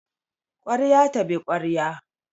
Kwarya tabi kwarya